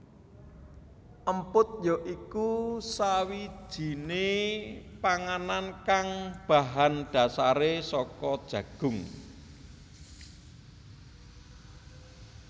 Emput ya iku sakwijiné panganan kang bahan dasaré saka jagung